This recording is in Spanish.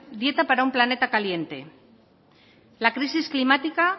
dieta para un planeta caliente la crisis climática